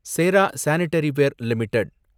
Chera sanitaryware limited